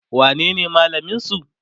wanene malamin su?